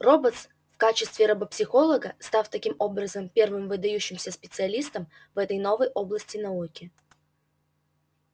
роботс в качестве робопсихолога став таким образом первым выдающимся специалистом в этой новой области науки